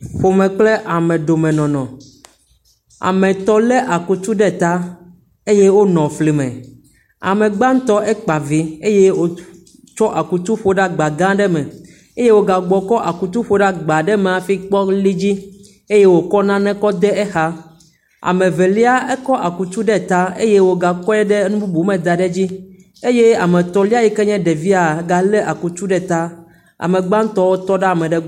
Ƒome kple amedomenɔnɔ. Ame etɔ̃ lé akutu ɖe ta eye wonɔ fli me. ame gbãtɔ ekpa vi eye wòtsɔ akutu ƒo ɖe agba gã aɖe me. eye wògagbugbɔkɔ akutu ƒo ɖe agba aɖe me hafi kpɔ li edzi eye wòkɔ nane le exa. Ame Evelia ekɔ akutu ekɔ akutu ɖe ta eye wògakɔe ɖe nu bubu me da ɖe edzi eye ame etɔ̃lia yi kee nye ɖevia galé akutu ɖe ta. Ame gbãtɔwo tɔ ɖe ame ɖe gbɔ.